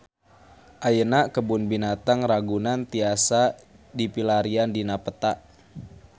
Ayeuna Kebun Binatang Ragunan tiasa dipilarian dina peta